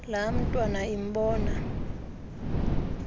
laa ntwana imbona